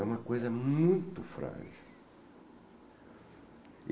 É uma coisa muito frágil.